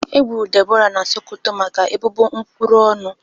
Egburu Deborah na Sokoto maka ebubo nkwuru ọnụ